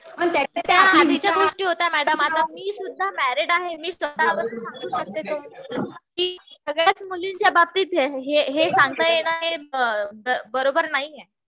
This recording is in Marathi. त्या आधीच्या गोष्टी होत्या मॅडम. आता मी सुद्धा मॅरीड आहे. मी स्वतः वरून सांगू शकते कि सगळ्याच मुलींच्या बाबतीत हे सांगणं ना हे बरोबर नाहीये.